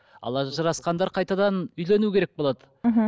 ал ажырасқандар қайтадан үйлену керек болады мхм